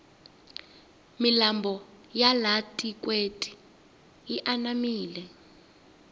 milambo ya laha tikweni yi anamile